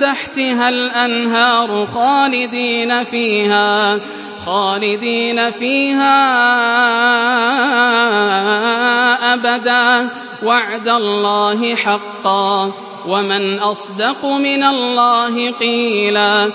تَحْتِهَا الْأَنْهَارُ خَالِدِينَ فِيهَا أَبَدًا ۖ وَعْدَ اللَّهِ حَقًّا ۚ وَمَنْ أَصْدَقُ مِنَ اللَّهِ قِيلًا